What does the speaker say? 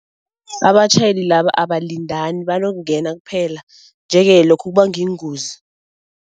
Abatjhayeli laba abalindani, banokungena kuphela nje-ke lokhu kubanga iingozi.